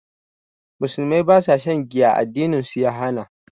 Musulmai ba su shan giya, addinin su ya hana.